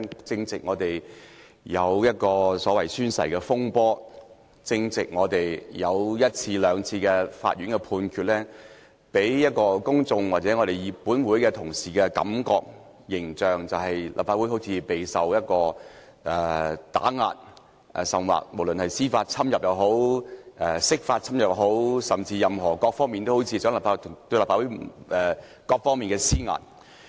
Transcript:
最近發生宣誓風波，法院亦已作出判決，或許會給予公眾或本會同事一種感覺或印象，認為立法會備受打壓，甚至受到司法侵入或釋法侵入，各方面好像都向立法會施壓。